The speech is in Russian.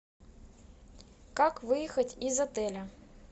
как выехать из отеля